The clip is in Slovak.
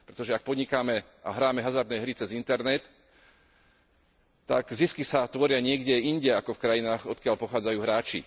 Pretože ak podnikáme a hráme hazardné hry cez internet, tak zisky sa tvoria niekde inde ako v krajinách, odkiaľ pochádzajú hráči.